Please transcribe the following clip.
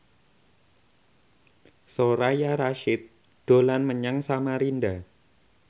Soraya Rasyid dolan menyang Samarinda